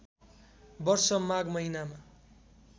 वर्ष माघ महिनामा